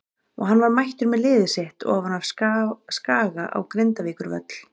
Og hann var mættur með liðið sitt ofan af Skaga á Grindavíkurvöll.